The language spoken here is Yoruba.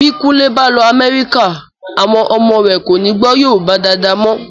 Bí kúnlé bá lọ Amerika, àwọn ọmọ rẹ̀ kọ́ni gbọ́ Yorùbá dáadáa mọ.